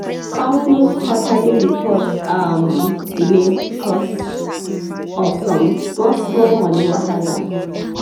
company quarterly report um delay because of some small-small money wahala.